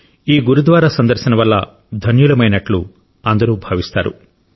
ఈ గురుద్వారా సందర్శన వల్ల ధన్యులమైనట్టు అందరూ భావిస్తారు